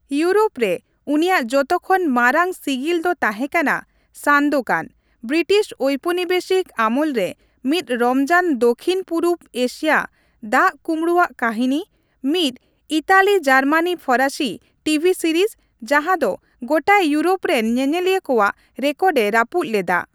Europe ᱨᱮ ᱩᱱᱤᱭᱟᱜ ᱡᱚᱛᱚᱠᱷᱚᱱ ᱢᱟᱨᱟᱝ ᱥᱤᱜᱤᱞ ᱫᱚ ᱛᱟᱸᱦᱮ ᱠᱟᱱᱟ ᱥᱟᱱᱫᱳᱠᱟᱱ, ᱵᱨᱤᱴᱤᱥ ᱳᱣᱯᱚᱱᱤᱵᱮᱥᱤᱠ ᱟᱢᱚᱞ ᱨᱮ ᱢᱤᱫ ᱨᱚᱢᱚᱡᱟᱱ ᱫᱚᱠᱷᱤᱱᱼᱯᱩᱨᱚᱵᱽ ᱮᱥᱤᱭᱟ ᱫᱟᱜᱼᱠᱩᱵᱲᱩᱼᱟᱜ ᱠᱟᱹᱦᱤᱱᱤ, ᱢᱤᱫ ᱤᱴᱟᱞᱤᱼᱡᱟᱨᱢᱟᱱᱼᱯᱷᱚᱨᱟᱥᱤ ᱴᱤᱵᱷᱤ ᱥᱤᱨᱤᱡᱽ ᱡᱟᱸᱦᱟ ᱫᱚ ᱜᱚᱴᱟ ᱤᱣᱩᱨᱳᱯ ᱨᱮᱱ ᱧᱮᱧᱮᱞᱤᱭᱟᱹ ᱠᱚᱣᱟᱜ ᱨᱮᱠᱚᱨᱰᱼᱮ ᱨᱟᱹᱯᱩᱫ ᱞᱮᱫᱟ ᱾